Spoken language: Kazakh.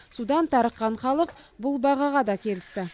судан тарыққан халық бұл бағаға да келісті